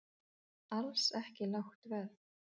Alls ekki lágt verð